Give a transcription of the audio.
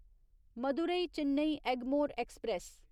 Madurai Chennai Egmore express